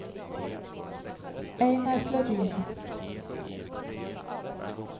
Einar Flodin